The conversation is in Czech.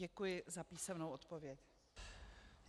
Děkuji za písemnou odpověď.